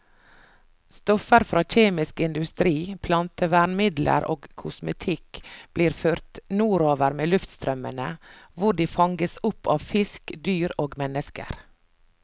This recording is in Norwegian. Stoffer fra kjemisk industri, plantevernmidler og kosmetikk blir ført nordover med luftstrømmene, hvor de fanges opp av fisk, dyr og mennesker.